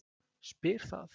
spyr það.